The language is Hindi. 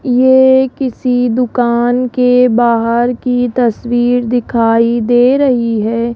ये किसी दुकान के बाहर की तस्वीर दिखाई दे रही है।